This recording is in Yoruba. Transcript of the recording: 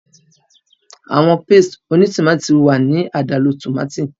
Awọn pastes tomati ti wa ni adalu tomati